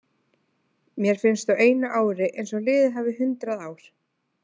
Mér finnst á einu ári eins og liðið hafi hundrað ár.